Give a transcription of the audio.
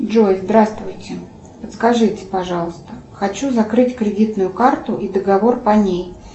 джой здравствуйте подскажите пожалуйста хочу закрыть кредитную карту и договор по ней